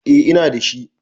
eh Ina da shi